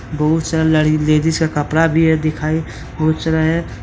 बहुत सारा लेडीज का कपड़ा भी दिखाई है।